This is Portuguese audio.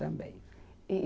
Também. E